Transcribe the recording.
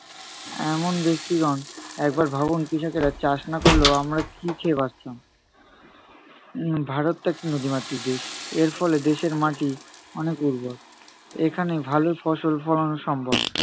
এ~এমন ব্যক্তিগণ একবার ভাবুন কৃষকেরা চাষ না করলে আমরা কী খেয়ে বাঁচতাম? উম ভারত তো একটা নদীমাতৃক দেশ, এর ফলে দেশের মাটি অনেক উর্বর। এখানে ভালো ফসল ফলানো সম্ভব।